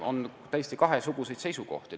On täiesti kahesuguseid seisukohti.